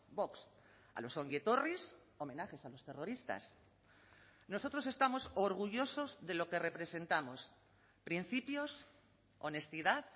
vox a los ongietorris homenajes a los terroristas nosotros estamos orgullosos de lo que representamos principios honestidad